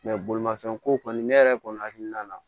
bolimafɛn ko kɔni ne yɛrɛ kɔni hakilina na